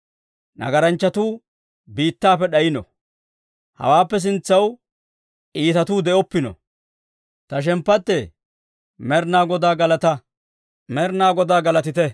Nagaranchchatuu biittaappe d'ayino; hawaappe sintsaw iitatuu de'oppino. Ta shemppattee, Med'inaa Godaa galataa! Med'inaa Godaa galatite!